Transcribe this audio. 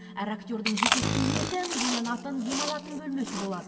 әр актердің жеке киінетін боянатын демалатын бөлмесі болады